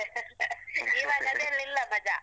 . ಈವಾಗ್ ಅದೆಲ್ಲ ಇಲ್ಲ ಮಜಾ.